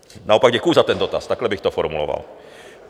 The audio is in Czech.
Naopak děkuju za ten dotaz, takhle bych to formuloval.